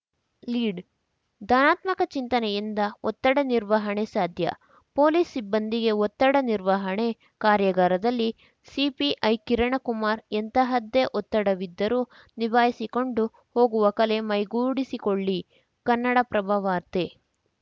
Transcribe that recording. lead ಧನಾತ್ಮಕ ಚಿಂತನೆಯಿಂದ ಒತ್ತಡ ನಿರ್ವಹಣೆ ಸಾಧ್ಯ ಪೊಲೀಸ್‌ ಸಿಬ್ಬಂದಿಗೆ ಒತ್ತಡ ನಿರ್ವಹಣೆ ಕಾರ್ಯಾಗಾರದಲ್ಲಿ ಸಿಪಿಐ ಕಿರಣಕುಮಾರ್ ಎಂತಹದ್ದೇ ಒತ್ತಡವಿದ್ದರೂ ನಿಭಾಯಿಸಿಕೊಂಡು ಹೋಗುವ ಕಲೆ ಮೈಗೂಡಿಸಿಕೊಳ್ಳಿ ಕನ್ನಡಪ್ರಭವಾರ್ತೆ